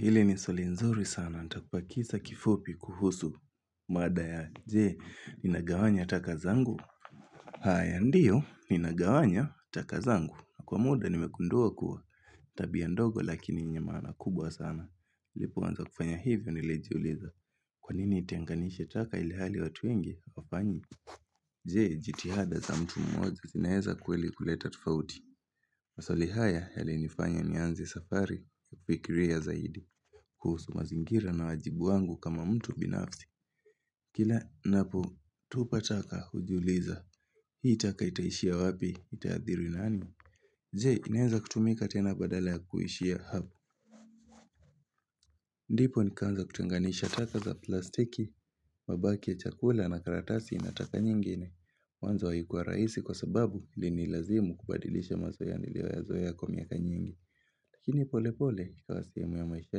Hili ni swali nzuri sana, nitakupa kisa kifupi kuhusu mada ya, je, ninagawanya taka zangu? Haya ndio, ninagawanya taka zangu. Kwa muda nimegundua kuwa, tabia ndogo lakini yenye maana kubwa sana. Nilipoanza kufanya hivyo nilijiuliza, kwa nini nitenganishe taka ilihali watu wengi, hawafanyi? Je, jitihada za mtu mmoja, zinaeza kweli kuleta tofauti? Maswali haya yalinifanya nianze safari, kufikiria zaidi, kuhusu mazingira na wajibu wangu kama mtu binafsi. Kila ninapotupa taka hujiuliza. Hii taka itaishia wapi? Itaathiri nani? Je, inaeza kutumika tena badala ya kuhishi hapa? Ndipo nikaanza kutenganisha taka za plastiki, mabaki ya chakula na karatasi na taka nyingine. Mwanzo haikua rahisi kwa sababu ilinilazimu kubadilisha mazoea niliyoyazoea kwa miaka nyingi. Lakini polepole ikawa sehemu ya maisha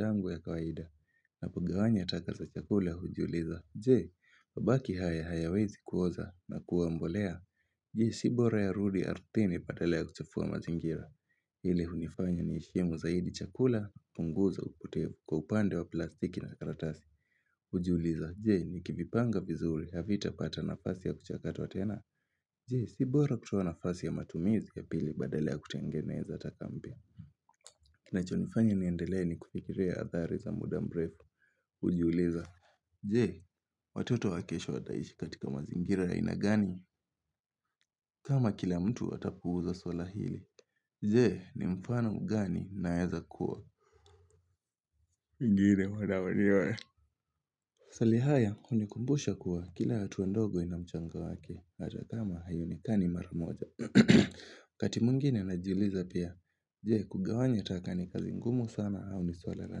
yangu ya kawaida. Napo gawanya taka za chakula hujiuliza Je, mabaki haya hayawezi kuoza na kuwa mbolea? Je, si bora yarudi ardhini badala ya kuchafua mazingira? Hili hunifanya niheshimu zaidi chakula, kupunguza upotevu kwa upande wa plastiki na karatasi Hujiuliza, je, nikivipanga vizuri havitapata nafasi ya kuchakatwa tena? Je, si bora kutoa nafasi ya matumizi ya pili badala ya kutengeneza taka mpya? Inachonifanya niendelee ni kufikiria athari za muda mrefu hujiuliza Je, watoto wa kesho wataishi katika mazingira ya aina gani? Kama kila mtu atapuuza suala hili Jee, ni mfano gani naeza kuwa? Mwingine huwa maswali haya, hunikumbusha kuwa kila hatua ndogo ina mchango wake, hata kama haionekani mara moja. Wakati mwingine najiuliza pia Je, kugawanya taka ni kazi ngumu sana au ni suala la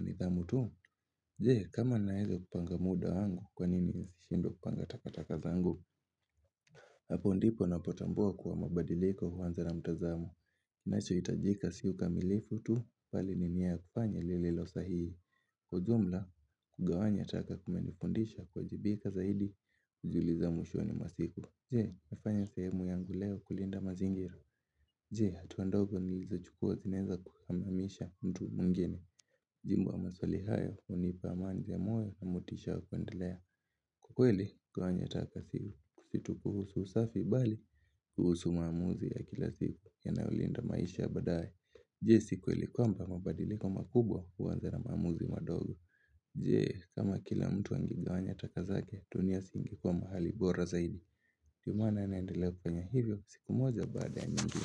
nidhamu tu? Je, kama ninaeza kupanga muda angu, kwa nini nisishindwe kupanga takataka zangu? Hapo ndipo napotambua kuwa mabadiliko huanza na mtazamo. Kinachohtajika si ukamilifu tu, bali ni nia ya kufanya lililo sahihi. Kwa ujumla, kugawanya taka kumenifundisha kuwajibika zaidi, kujiuliza mwishoni mwa siku, Je, nafanya sehemu yangu leo kulinda mazingira? Je, hatua ndogo nilizochukua zinaeza kuhamamisha mtu mwingine? Majibu ya maswali hayo hunipa amani ya moyo na motisha wa kuendelea. Kwa kweli, kugawanya taka si tu kuhusu usafi bali kuhusu maamuzi ya kila siku yanayolinda maisha ya baadaye. Je, si kweli kwamba mabadiliko makubwa huanza na maamuzi madogo? Je kama kila mtu angegawanya taka zake, dunia si ingekuwa mahali bora zaidi? Ndio maana naendelea kufanya hivyo, siku moja baada ya nyingine.